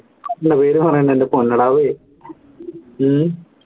അല്ല പേര് പറയണ്ട എൻറെ ഹും